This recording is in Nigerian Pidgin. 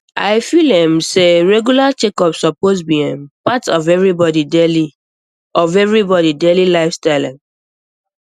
i feel um say regular checkups suppose be um part of everybody daily of everybody daily lifestyle um